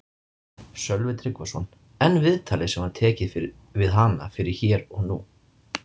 Sölvi Tryggvason: En viðtalið sem var tekið við hana fyrir Hér og nú?